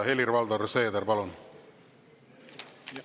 Helir-Valdor Seeder, palun!